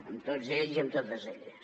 amb tots ells i amb totes elles